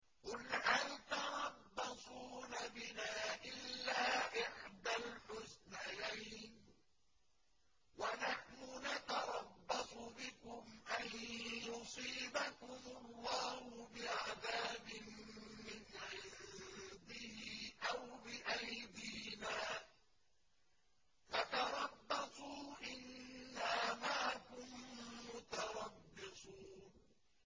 قُلْ هَلْ تَرَبَّصُونَ بِنَا إِلَّا إِحْدَى الْحُسْنَيَيْنِ ۖ وَنَحْنُ نَتَرَبَّصُ بِكُمْ أَن يُصِيبَكُمُ اللَّهُ بِعَذَابٍ مِّنْ عِندِهِ أَوْ بِأَيْدِينَا ۖ فَتَرَبَّصُوا إِنَّا مَعَكُم مُّتَرَبِّصُونَ